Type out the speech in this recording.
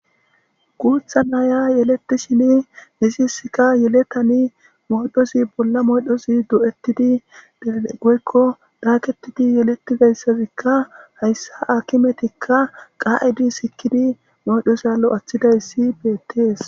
Gutha naya yeleti shin nisisika yeletani moydhosi bolla moydhozi du'ettidi dee goykko daaketidi yeletidaysazikka hayssa akimetikka qaa'idi sikidi moydhosalo athidayssi betees